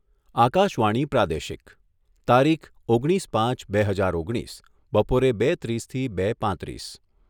આકાશવાણી પ્રાદેશિક તારીખ ઓગણીસ પાંચ બે હજાર ઓગણીસ બપોરે બે ત્રીસથી બે પાંત્રીસ